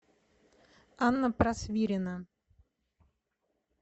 анна просвирина